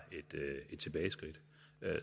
et tilbageskridt